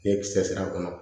Ni kisɛ a kɔnɔ